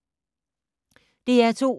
DR2